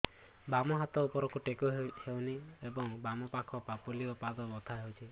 ବାମ ହାତ ଉପରକୁ ଟେକି ହଉନି ଏବଂ ବାମ ପାଖ ପାପୁଲି ଓ ପାଦ ବଥା ହଉଚି